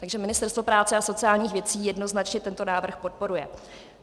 Takže Ministerstvo práce a sociálních věcí jednoznačně tento návrh podporuje.